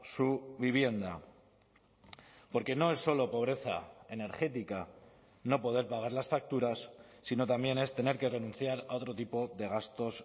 su vivienda porque no es solo pobreza energética no poder pagar las facturas sino también es tener que renunciar a otro tipo de gastos